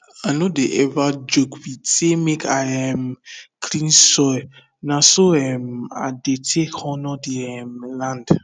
i no dey ever joke with say make i um clean soil na so um i dey take honour the um land